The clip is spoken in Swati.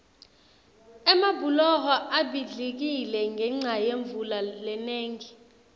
emabhuloho abhidlikile ngenca yemvula lenengi